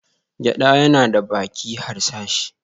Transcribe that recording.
Gyada yana da baki harsashi.